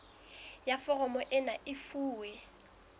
ya foromo ena e fuwe